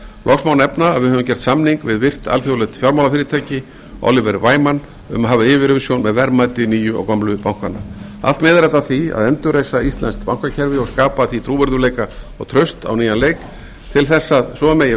loks má nefna að við höfum gert samning við virt alþjóðlegt fjármálafyrirtæki oliver wyman um að hafa yfirumsjón með verðmæti nýju og gömlu bankanna allt miðar þetta að því að endurreisa íslenskt bankakerfi og skapa því trúverðugleika og traust á nýjan leik til þess að svo megi